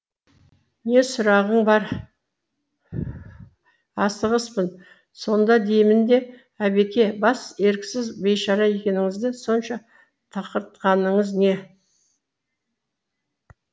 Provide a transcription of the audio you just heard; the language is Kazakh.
не сұрағың бар асығыспын сонда деймін де әбеке бас еріксіз бейшара екеніңізді сонша тұқыртқаныңыз не